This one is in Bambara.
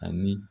Ani